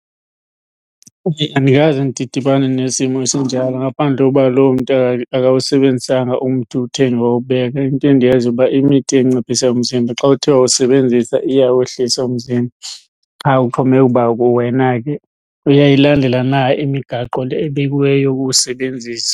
Andikaze ndidibane nesimo esinjalo ngaphandle koba loo mntu akawusebenzisanga umthi uwuthenge wawubeka. Into endiyaziyo uba imithi enciphisa umzimba xa uthe wawusebenzisa iyawehlisa umzimba, qha uxhomekeka ukuba wena ke uyayilandela na imigaqo le ebekiweyo yokuwusebenzisa.